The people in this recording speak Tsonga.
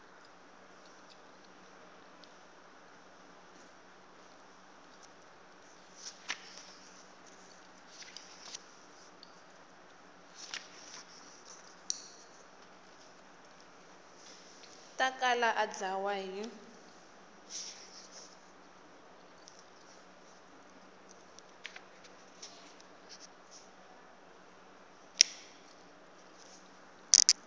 ta kala a dlawa hi